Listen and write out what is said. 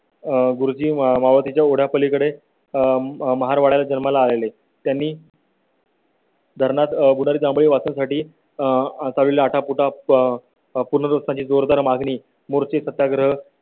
गुरुजी मावळतीच्या ओढ्या पलीकडे महार वाडात जन्माला आलेले त्यांनी . धरणात आह चालेल. आटापिटा प पूर्णत्वा ची जोरदार मागणी मुळशी सत्याग्रह ही